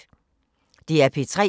DR P3